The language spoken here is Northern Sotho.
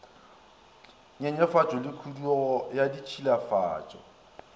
nyenyefatšo le khudugo ya ditšhilafatšo